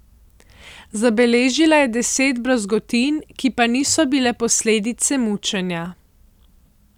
Zabeležila je deset brazgotin, ki pa niso bile posledice mučenja.